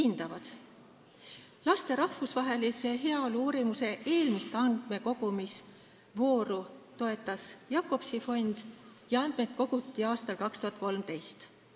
Laste heaolu rahvusvahelise uurimuse eelmist andmekogumisvooru toetas Jacobsi fond ja andmeid koguti aastal 2013.